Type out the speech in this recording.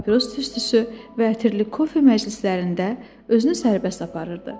Papiros tüstüsü və ətirli kofe məclislərində özünü sərbəst aparırdı.